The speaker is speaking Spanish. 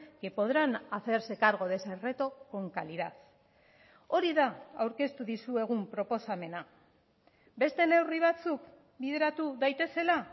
que podrán hacerse cargo de ese reto con calidad hori da aurkeztu dizuegun proposamena beste neurri batzuk bideratu daitezela